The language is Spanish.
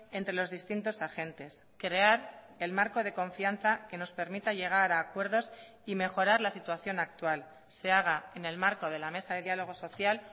entre los distintos agentes crear el marco de confianza que nos permita llegar a acuerdos y mejorar la situación actual se haga en el marco de la mesa de diálogo social